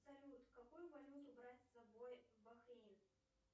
салют какую валюту брать с собой в бахрейн